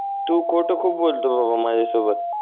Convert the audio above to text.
तू खोटं खूप बोलत बाबा माझ्यासोबत